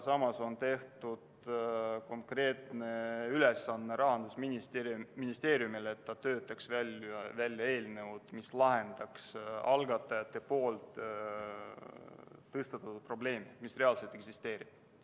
Samas on tehtud Rahandusministeeriumile konkreetseks ülesandeks töötada välja eelnõu, mis lahendaks algatajate tõstatatud probleemi, mis reaalselt eksisteerib.